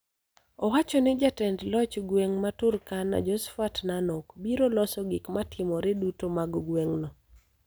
Owacho ni jatend loch gweng' ma Turkana, Josphat Nanok, biro loso gik matimore duto mag gweng'no.